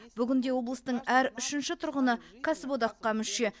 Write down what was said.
бүгінде облыстың әр үшінші тұрғыны кәсіподаққа мүше